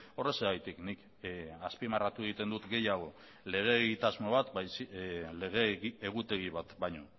horrexegatik nik azpimarratu egiten dut gehiago lege egitasmo bat lege egutegi bat baino